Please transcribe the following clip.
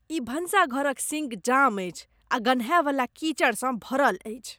ई भनसाघर क sink jam अछि आ गन्हायवला कीचड़सँ भरल अछि।